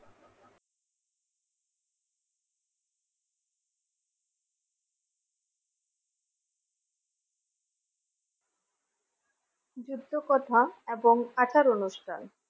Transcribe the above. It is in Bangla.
যুদ্ধকথা এবং আচার অনুষ্ঠান।